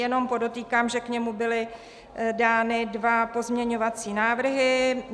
Jenom podotýkám, že k němu byly dány dva pozměňovací návrhy.